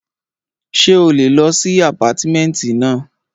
Ṣé o lè lọ sí àpátímẹ̀ntì náà?